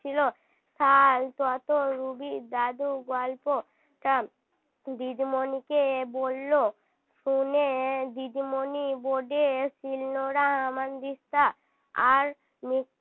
আর তত রুবির দাদুর গল্প দিদিমনিকে বললো শুনে দিদিমনি board এ শিলনোড়া হামানদিস্তা আর